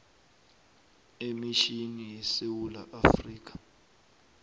emitjhini yesewula afrika